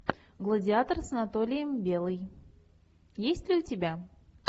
гладиатор с анатолием белый есть ли у тебя